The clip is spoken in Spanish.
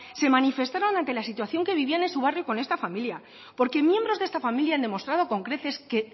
se manifestaron ante la situación que vivían en su barrio con esta familia porque miembros de esta familia han demostrado con creces que